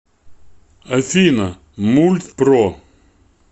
афина мульт про